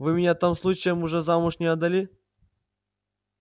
вы меня там случаем уже замуж не отдали